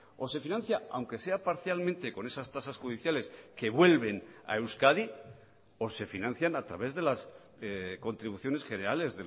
o se financia aunque sea parcialmente con esas tasas judiciales que vuelven a euskadi o se financian a través de las contribuciones generales